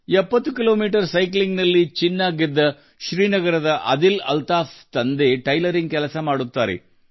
70 ಕಿಮೀ ಸೈಕ್ಲಿಂಗ್ನಲ್ಲಿ ಚಿನ್ನ ಗೆದ್ದ ಶ್ರೀನಗರದ ಆದಿಲ್ ಅಲ್ತಾಫ್ ಅವರ ತಂದೆ ಟೈಲರಿಂಗ್ ಕೆಲಸ ಮಾಡುತ್ತಾರೆ